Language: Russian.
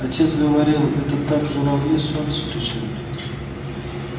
отец говорил это так журавли солнце встречают